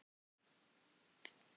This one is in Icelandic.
Hún er mjög fræg hérna á Spáni.